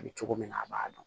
A bɛ cogo min na a b'a dɔn